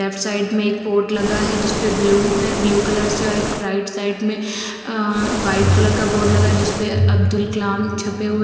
Left side में एक board लगा है। जिस पे ब्लू है। ब्लू कलर से और एक राइट साइड में अ व्हाइट कलर का बोर्ड लगा जिस पे अब्दुल कलाम छपे हुए --